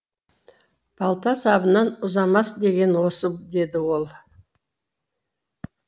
балта сабынан ұзамас деген осы деді ол